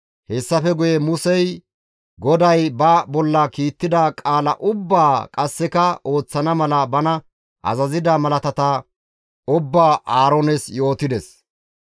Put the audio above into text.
Hessafe guye Musey GODAY ba bolla kiittida qaala ubbaa qasseka ooththana mala bana azazida malaatata ubbaa Aaroones yootides.